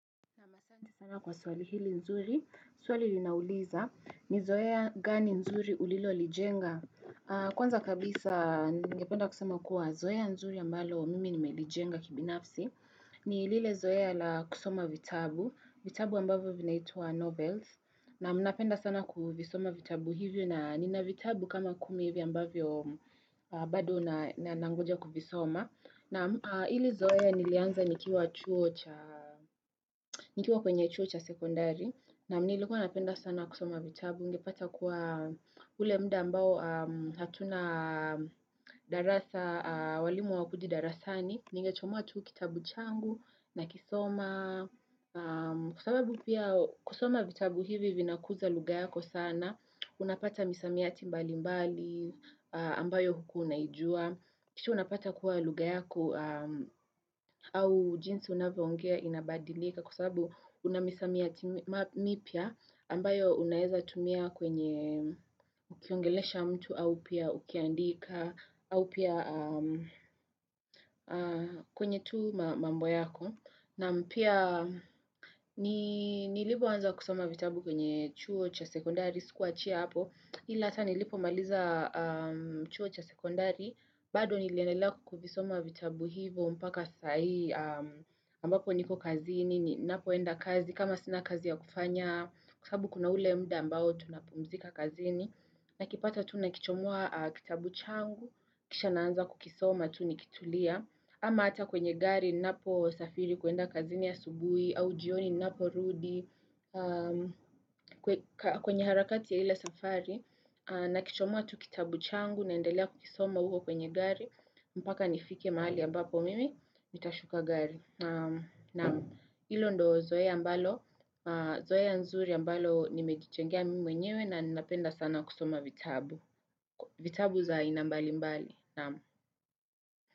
Asanti sana kwa swali hili nzuri, swali linauliza ni zoea gani nzuri ulilolijenga. Kwanza kabisa ningependa kusema kuwa zoea nzuri ambalo mimi nimelijenga kibinafsi. Ni lile zoea la kusoma vitabu, vitabu ambavyo vinaitwa Novels. Naam napenda sana kuvisoma vitabu hivyo na nina vitabu kama kumi hivyo ambavyo bado na nangoja kuvisoma. Naam, ile zoea nilianza nikiwa chuo cha nikiwa kwenye chuo cha sekondari. Naam nilikuwa napenda sana kusoma vitabu, ungepata kuwa ule mda ambao hatuna darasa, walimu hawakuji darasani, ningechomoa tu kitabu changu nakisoma. Kwa sababu pia kusoma vitabu hivi vinakuza lugha yako sana. Unapata misamiati mbali mbali ambayo hukuwa unaijua kisha unapata kuwa lugha yako au jinsi unavyoongea inabadilika kwa sababu una misamiati mipya ambayo unaweza tumia kwenye ukiongelesha mtu au pia ukiandika au pia kwenye tu mambo yako Naam pia nilipoanza kusoma vitabu kwenye chuo cha sekondari sikuwachia hapo ila hata nilipomaliza chuo cha sekondari bado niliendelea kuvisoma vitabu hivo mpaka saa hii ambapo niko kazini, napoenda kazi, kama sina kazi ya kufanya Kwa sabu kuna ule muda ambao tunapumzika kazini Nakipata tu nakichomoa kitabu changu kisha naanza kukisoma tu nikitulia ama hata kwenye gari ninapo safiri kuenda kazini asubuhi au jioni ninaporudi, kwenye harakati ya ile safari, nakichomoa tu kitabu changu naendelea kukisoma uko kwenye gari, mpaka nifike mahali ambapo mimi nitashuka gari. Naam hilo ndo zoea ambalo, zoea nzuri ambalo nimejijengea mimi mwenyewe na ninapenda sana kusoma vitabu. Vitabu za aina mbali mbali, naam.